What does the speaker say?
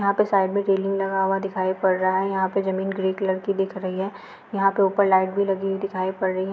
यहाँ पे साइड में रेलिंग लगा हुआ दिखाई पड़ रहा है। यहाँ पे जमीन ग्रे कलर की दिख रही है। यहाँ पे ऊपर लाइट भी लगी दिखाई पड़ रही है।